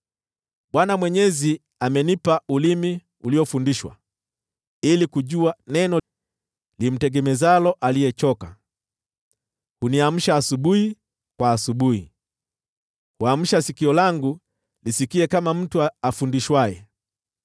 Bwana Mwenyezi amenipa ulimi uliofundishwa, ili kujua neno limtegemezalo aliyechoka. Huniamsha asubuhi kwa asubuhi, huamsha sikio langu lisikie kama mtu afundishwaye.